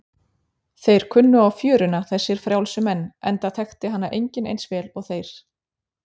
Þeir kunnu á fjöruna, þessir frjálsu menn, enda þekkti hana enginn eins vel og þeir.